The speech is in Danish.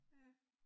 Ja